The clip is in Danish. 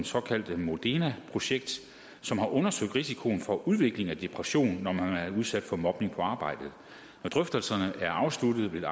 såkaldte modena projekt som har undersøgt risikoen for udvikling af depression når man er udsat for mobning på arbejdet når drøftelserne er afsluttet vil